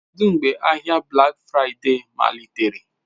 Kedu mgbe ahịa Black Friday malitere?